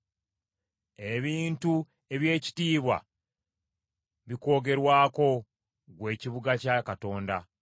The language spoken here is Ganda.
Ebintu eby’ekitiibwa bikwogerwako, ggwe ekibuga kya Katonda.